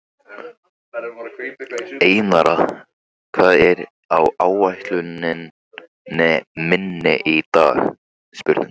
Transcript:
Einara, hvað er á áætluninni minni í dag?